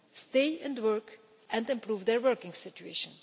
stay in work, and improve their working situation.